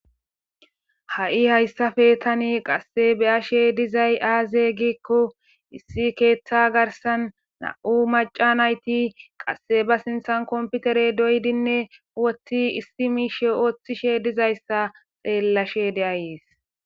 ha7i hayssafe tani qasse beyashe dizay aaze gikko issi keeththa garsan na7u maca nayti qasse ba sinthan komputerey doydinne woththi issi miishe ooththishe dizayssa xeellashe de7ayees